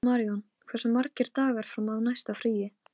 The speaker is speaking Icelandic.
Britta, hvað er jörðin stór?